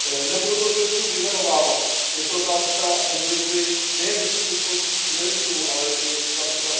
Nebudu to zde všechno vyjmenovávat, je to otázka mobility nejen vysokoškolských studentů, ale i např.